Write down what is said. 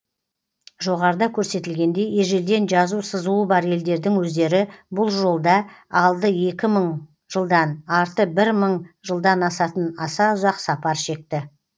жоғарыда көрсетілгендей ежелден жазу сызуы бар елдердің өздері бұл жолда алды екі мың жылдан арты бір мың жылдан асатын аса ұзақ сапар шекті